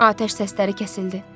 Atəş səsləri kəsildi.